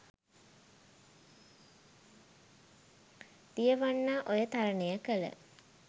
දියවන්නා ඔය තරණය කළ